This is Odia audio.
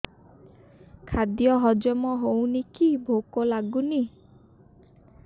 ଖାଦ୍ୟ ହଜମ ହଉନି କି ଭୋକ ଲାଗୁନି